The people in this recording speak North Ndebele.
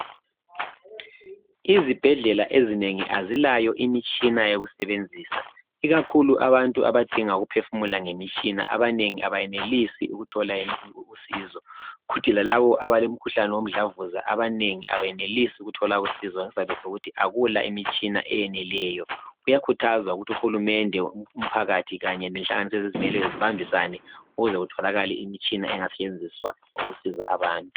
Izibhedlela ezinengi azilayo imitshina yokusebenzisa ikakhulu abantu abadinga ukuphefumula ngemitshina abantu abanengi abayenelisi ukuthola usizo kuthi lalabo abalomkhuhlane womdlavuza abanengi abenelisi ukuthola usizo ngesizathi sokuthi akula imitshina eyeneleyo kuyakhuthazwa ukuthi uhulumende umphakathi Kanye lenhlanganiso ezizimeleyo zibambisane ukuze kutholakale imitshina engasetshenziswa ukusiza abantu